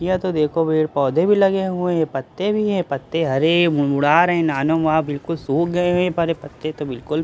यह तो देखो पेड़ पौधे भी लगे हुए है ये पत्ते भी हैं पत्ते हरे मुड़ाड़ है मानो वहां बिल्कुल सुख गए हैं पर पत्ते तो बिल्कुल--